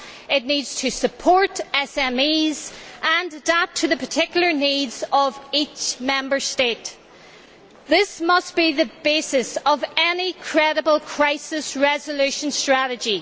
It needs to support SMEs and adapt to the particular needs of each Member State, and this must be the basis of any credible crisis resolution strategy.